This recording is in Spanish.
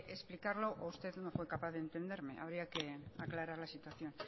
explicarlo o usted no fue capaz de entenderme habría que aclarar la situación